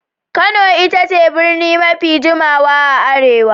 Kano ita ce birni mafi jimawa a Arewa.